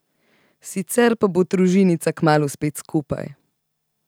Sicer pa bo družinica kmalu spet skupaj.